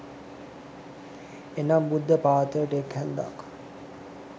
එනම්, බුද්ධ පාත්‍රයට එක් හැන්දක්,